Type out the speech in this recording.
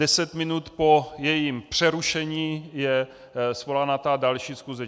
Deset minut po jejím přerušení je svolána ta další schůze.